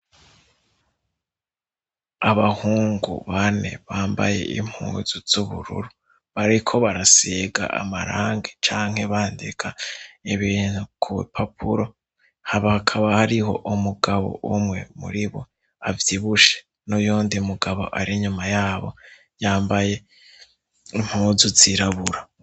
Abahungu bane bambaye impuzu z'ubururu bariko barasega amarangi canke bandika ibintu ku papuro habakaba hariho umugabo umwe muri bo avyibushe n'uyo ndi mugabo ari inyuma yabo yambaye impozu zirabura.